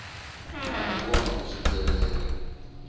na u kona u swikelela